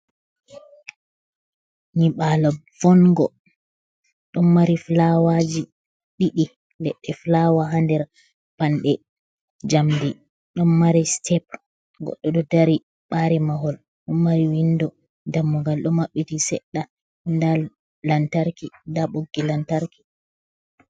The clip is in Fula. Nyibala voingo, ɗon mari fulawaji ɗiɗi, leɗɗe fulawa ha nder panɗe jamdi, ɗon mari step goɗɗo ɗo dari ɓari mahol, ɗon mari windo dammugal ɗo maɓɓiti seɗɗa, nda lantarki nda ɓoggi lantarki.